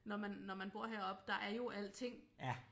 Når man når man bor heroppe der er jo alting